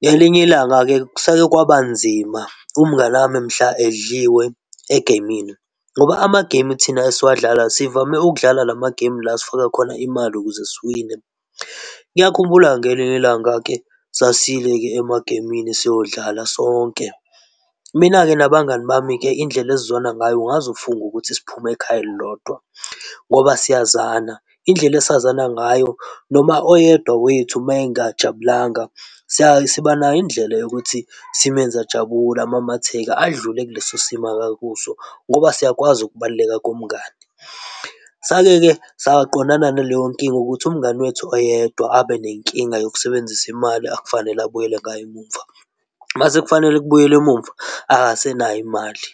Ngelinye ilanga-ke kuseke kwaba nzima umngani wami mhla edliwe egemini ngoba ama-game thina esiwadlalayo, sivame ukudlala lama-game la sifaka khona imali ukuze siwine. Ngiyakhumbula ngelinye ilanga-ke sasiyile-ke emagemini siyodlala sonke. Mina-ke nabangani bami-ke indlela esizwana ngayo ungaze ufunge ukuthi siphume ekhaya elilodwa ngoba siyazana. Indlela esazane ngayo noma oyedwa wethu meyengajabulanga, sibanayo indlela yokuthi simenze jabule, amamatheke, adlule kuleso simo akakuso ngoba siyakwazi ukubaluleka komngani. Sake-ke saqondana naleyo nkinga ukuthi umngani wethu oyedwa abenenkinga yokusebenzisa imali akufanele abuyele ngayo emuva. Mase kufanele kubuyelwe emuva akasenayo imali.